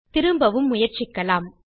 திரும்பவும் முயற்சிக்கலாம்